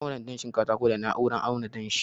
na auna danshin katakon da na'urar auna danshi